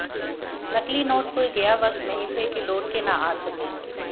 नकली नोट कोई गया वक्त नहीं थे कि लौट के न आ सकें